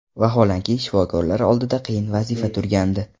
Vaholanki, shifokorlar oldida qiyin vazifa turgandi.